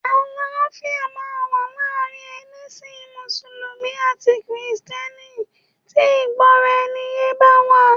Àlàáfíà máa wà láàrin ẹlẹ́sìn mùsùlùmí àti kìrìsìtẹ́nì tí ìgbọ́raẹniyé bá wà.